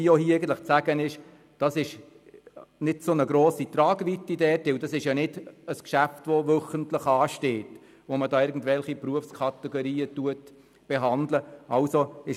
Die Tragweite ist nicht gross, es handelt sich nicht um ein Geschäft, welches wöchentlich anfällt.